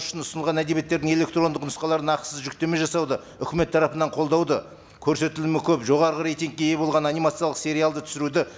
үшін ұсынылған әдебиеттердің электрондық нұсқаларын ақысыз жүктеме жасауды үкімет тарапынан қолдауды көрсетілімі көп жоғарғы рейтингке ие болған анимациялық сериалды түсіруді